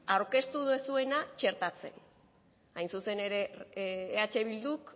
aurkeztu duzuena txertatzen hain zuzen ere eh bilduk